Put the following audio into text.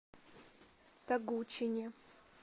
тогучине